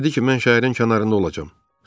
Dedi ki, mən şəhərin kənarında olacam.